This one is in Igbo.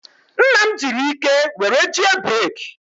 Nna m jiri ike were jie breeki.